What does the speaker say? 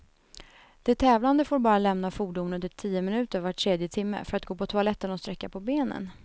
De tävlande får bara lämna fordonet i tio minuter var tredje timme, för att gå på toaletten och sträcka på benen.